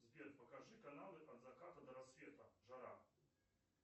сбер покажи каналы от заката до рассвета жара